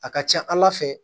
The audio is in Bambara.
A ka ca ala fɛ